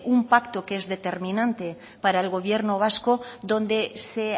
un pacto que es determinante para el gobierno vasco donde se